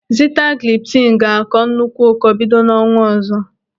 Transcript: Sitagliptin ga-akọ nnukwu ụkọ bido n'ọnwa ọzọ.